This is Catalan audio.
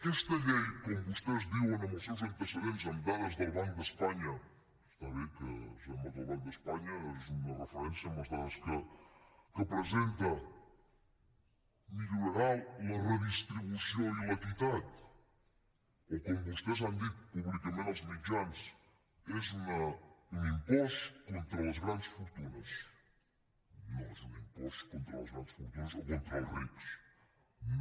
aquesta llei com vostès diuen amb els seus antecedents amb dades del banc d’espanya està bé que sembla que el banc d’espanya és una referència amb les dades que presenta millorarà la redistribució i l’equitat o com vostès han dit públicament als mitjans és un impost contra les grans fortunes no és un impost contra les grans fortunes o contra els rics no